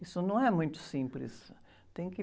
Isso não é muito simples. Tem que...